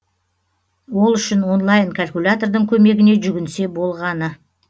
ол үшін онлайн калькулятордың көмегіне жүгінсе болғаны